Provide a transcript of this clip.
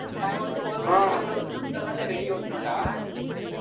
நாங்க வந்து ஒரு van ல உள்ள ஒட்டினோம் இந்த van ல வெளிய ஒட்டினோம்டா